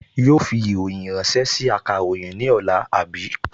Yóò fi ìròyìn ránṣẹ́ sí akàròyìn ní ọ̀la, àbí?